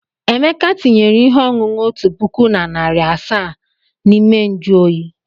Emeka tinyere ihe ọṅụṅụ otu puku na narị asaa n'ime nju oyi.